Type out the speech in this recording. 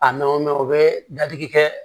A nanw mɛ u bɛ dadigi kɛ